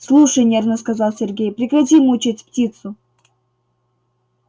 слушай нервно сказал сергей прекрати мучить птицу